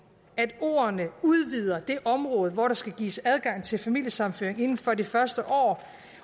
at ordene udvider det område hvor der skal gives adgang til familiesammenføring inden for det første år